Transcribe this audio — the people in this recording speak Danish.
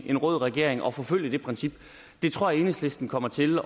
en rød regering og forfølge det princip det tror jeg enhedslisten kommer til